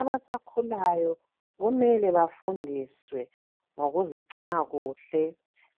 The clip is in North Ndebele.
Abasakhulayo kumele bafundiswe ngokuzigcina kuhle